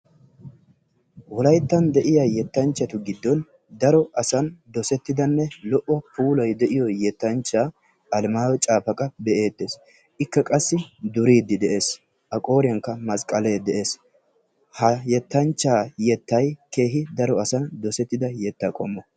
wolaytta de'iyaa yettanchchatu giddon dossetidanne daro puulay de'iyoo yetanchcha Alamayyo Caafaqqa be''ettees. ika qassi duride de'ees. Aqooriyan masqqaale de'ees. Ha yettanchcha yettay daro asan dossettida yetta qommo.